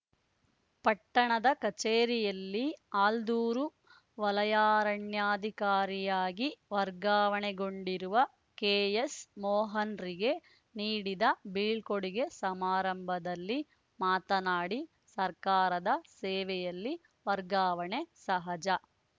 ಪಟ್ಟಣದ ಕಚೇರಿಯಲ್ಲಿ ಆಲ್ದೂರು ವಲಯಾರಣ್ಯಾಧಿಕಾರಿಯಾಗಿ ವರ್ಗಾವಣೆಗೊಂಡಿರುವ ಕೆಎಸ್‌ ಮೋಹನ್‌ರಿಗೆ ನೀಡಿದ ಬೀಳ್ಕೊಡುಗೆ ಸಮಾರಂಭದಲ್ಲಿ ಮಾತನಾಡಿ ಸರ್ಕಾರದ ಸೇವೆಯಲ್ಲಿ ವರ್ಗಾವಣೆ ಸಹಜ